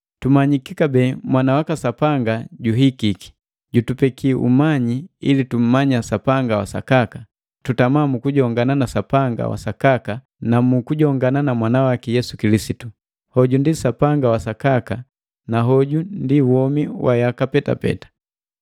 Tumanyiki kabee Mwana waka Sapanga juhikiki, jutupeki umanyi ili tummanya Sapanga wa sakaka; tutama mu kujongana na Sapanga wa sakaka na mu kujongana na Mwana waki Yesu Kilisitu. Hoju ndi Sapanga wa Sakaka, na hogu ndi womi wa yaka petapeta.